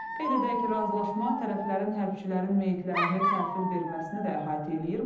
Qeyd edək ki, razılaşma tərəflərin hərbçilərin meyitlərini təhvil verməsini də əhatə eləyir.